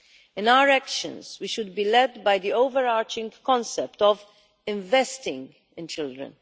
In our actions we should be led by the overarching concept of investing in children.